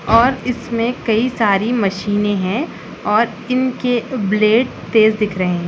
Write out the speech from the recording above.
और इसमें कई सारी मशीनें हैं और इनके ब्लेड तेज़ दिख रहे हैं।